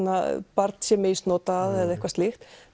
barn sé misnotað eða eitthvað slíkt